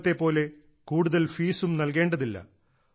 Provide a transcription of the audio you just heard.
മുമ്പത്തെപ്പോലെ കൂടുതൽ ഫീസും നൽകേണ്ടതില്ല